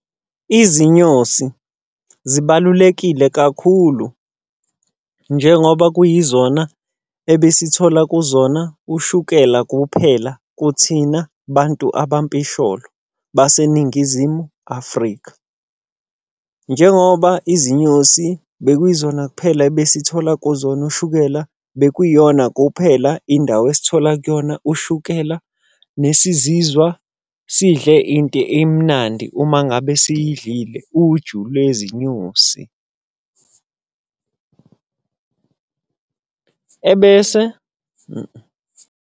Izinyosi zibalulekile kakhulu njengoba kuyizona ebesithola kuzona ushukela kuphela kuthina bantu abampisholo baseNingizimu Afrika. Njengoba izinyosi bekuyizona kuphela ebesithola kuzona ushukela, bekuyiyona kuphela indawo esithola kuyona ushukela nesizizwa sidle into emnandi uma ngabe siyidlile uju lwezinyosi. Ebese .